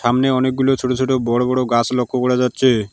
সামনে অনেকগুলো ছোট ছোট বড় বড় গাছ লক্ষ্য করা যাচ্ছে।